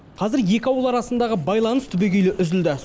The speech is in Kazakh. қазір екі ауыл арасындағы байланыс түбегейлі үзілді